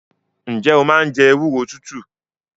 Ǹjẹ́ o máa ń jẹ ewúro tútù?